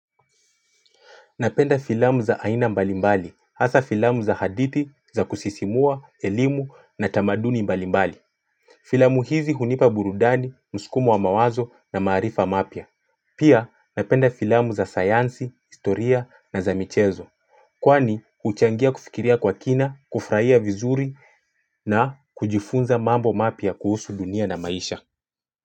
Napenda filamu za aina mbalimbali hasa filamu za haditi za kusisimua elimu na tamaduni mbalimbali Filamu hizi hunipa burudani mskumo wa mawazo na maarifa mapya Pia napenda filamu za sayansi historia na za michezo Kwani huchangia kufikiria kwa kina kufurahia vizuri na kujifunza mambo mapya kuhusu dunia na maisha.